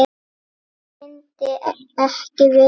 Hver myndi ekki vilja það?